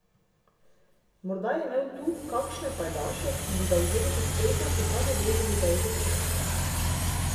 Morda je imel tu kakšne pajdaše, ki bi ga vzeli pod streho, čeprav bi vedeli, da je izobčenec.